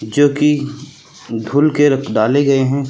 जो कि धूल के रख डाले गए हैं।